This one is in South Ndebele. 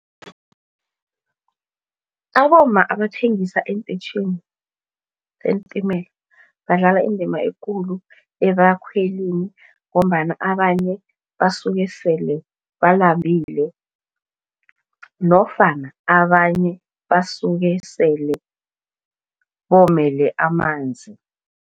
Abomma abathengisa eenteyitjhini zeentimela badlala indima ekulu ebakhwelini. Ngombana abanye basuke sele balambile nofana abanye basuke sele bomele amanzi.